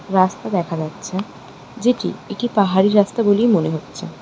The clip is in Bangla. রাস্তা দেখা যাচ্ছে যেটি একটি পাহাড়ি রাস্তা বলেই মনে হচ্ছে।